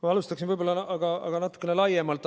Ma alustan aga natukene laiemalt.